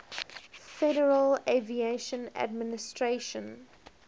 federal aviation administration